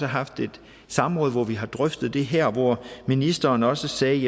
haft et samråd hvor vi har drøftet det her og hvor ministeren også sagde